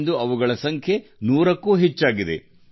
ಇಂದು ಅವುಗಳ ಸಂಖ್ಯೆ ನೂರಕ್ಕೂ ಹೆಚ್ಚು